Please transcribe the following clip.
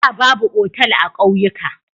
Da, babu otal a kauyuka.